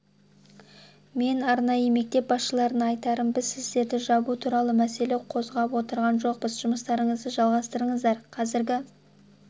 мен арнайы мектеп басшыларына айтарым біз сіздерді жабу туралы мәселе қозғап отырған жоқпыз жұмыстарыңызды жалғастырасыздар қазіргі